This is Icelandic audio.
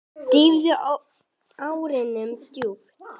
Dýfði árinni djúpt.